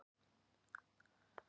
Sá fór í hvalslíki.